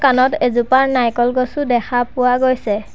তলত এজোপা নাৰিকল গছো দেখা পোৱা গৈছে।